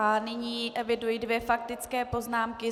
A nyní eviduji dvě faktické poznámky.